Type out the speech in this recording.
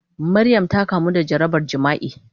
Maryam ta kamu da jarabar jima'i.